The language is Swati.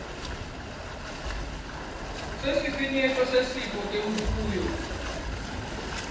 sesifinyeto setifo temfuyo